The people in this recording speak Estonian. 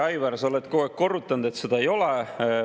Aivar, sa oled kogu aeg korrutanud, et seda ei ole.